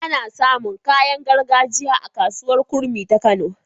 Ana samun kayan gargajiya a kasuwar kurmi ta kano